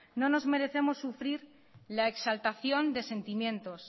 no nos merecemos sufrir la exaltación de sentimientos